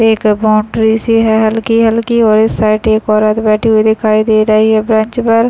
एक बॉन्डरी सी है हल्की-हल्की और इस साइड एक औरत बैठी हुई दिखाई दे रही है बैंच पर |